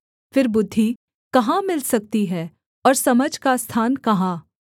फिर बुद्धि कहाँ मिल सकती है और समझ का स्थान कहाँ